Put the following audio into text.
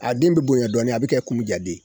A den bɛ bonya dɔɔnin a bɛ komi jaden